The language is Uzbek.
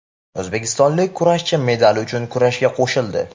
O‘zbekistonlik kurashchi medal uchun kurashga qo‘shildi.